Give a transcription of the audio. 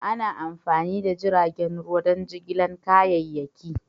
Ana amfani da jiragen ruwa don jigilar kayayyaki.